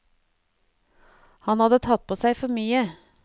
Han hadde tatt på seg for mye.